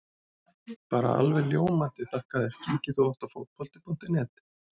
Bara alveg ljómandi þakka þér Kíkir þú oft á Fótbolti.net?